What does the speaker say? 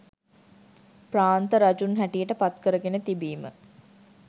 ප්‍රාන්ත රජුන් හැටියට පත් කරගෙන තිබීම